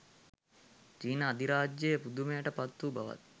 චීන අධිරාජයා පුදුමයට පත් වූ බවත්